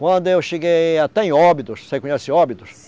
Quando eu cheguei até em Óbidos, você conhece Óbidos?